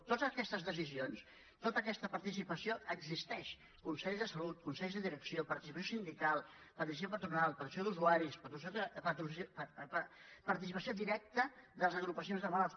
totes aquestes decisions tota aquesta participació existeix consells de salut consells de direcció participació sindical participació patronal participació d’usuaris participació directa de les agrupacions de malalts